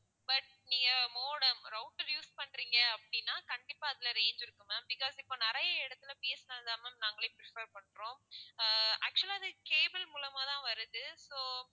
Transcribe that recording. but நீங்க modem router use பண்றீங்க அப்படின்னா கண்டிப்பா அதுல range இருக்கும் ma'am because இப்போ நிறைய இடத்துல பி. எஸ். என். எல் தான் ma'am நாங்களே prefer பண்றோம் ஆஹ் actual ஆ அது cable மூலமா தான் வருது so